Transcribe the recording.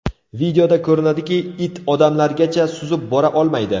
Videoda ko‘rinadiki, it odamlargacha suzib bora olmaydi.